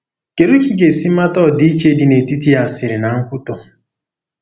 Kedu ka ị ga-esi mata ọdịiche dị netiti asịrị na nkwutọ?